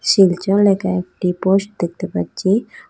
শিলচর লেকা একটি পোস্ট দেখতে পাচ্চি।